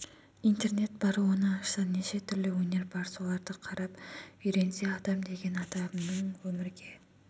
интернет бар оны ашса неше түрлі өнер бар соларды қарап үйренсе адам деген адамның өмірге